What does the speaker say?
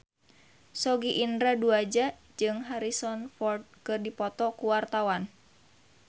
Sogi Indra Duaja jeung Harrison Ford keur dipoto ku wartawan